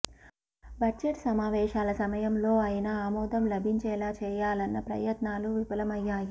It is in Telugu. బడ్జెట్ సమావేశాల సమయంలో అయినా ఆమోదం లభించేలా చేయాలన్న ప్రయత్నాలు విఫలమయ్యాయి